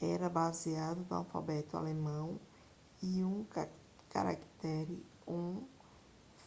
era baseado no alfabeto alemão e um caractere õ/õ